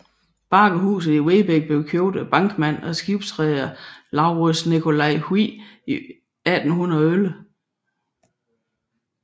Bakkehuset i Vedbæk blev købt af bankmand og skibsreder LauritzNicolai Hvidt i 1811